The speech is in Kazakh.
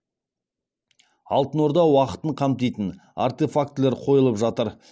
алтын орда уақытын қамтитын артефактілер қойылып жатыр